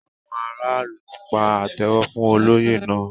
Àwọn aráàlú pa àtẹ́wọ́ fún olóyè náà.